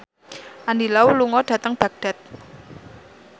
Andy Lau lunga dhateng Baghdad